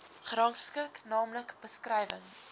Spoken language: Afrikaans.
gerangskik naamlik beskrywing